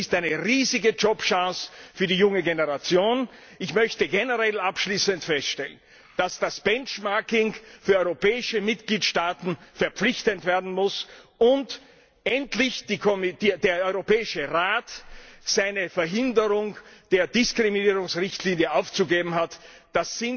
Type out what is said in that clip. Es ist eine riesige Jobchance für die junge Generation. Ich möchte generell abschließend feststellen, dass das Benchmarking für europäische Mitgliedstaaten verpflichtend werden muss und endlich der Europäische Rat seine Blockierung der Diskriminierungsrichtlinie aufgeben muss.